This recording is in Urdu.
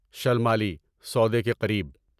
شلمالی سودے کے قریب